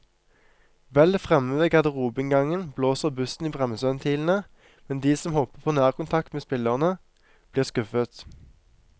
Vel fremme ved garderobeinngangen blåser bussen i bremseventilene, men de som håper på nærkontakt med spillerne, blir skuffet.